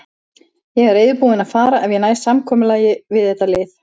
Ég er reiðubúinn að fara ef ég næ samkomulagi við þetta lið.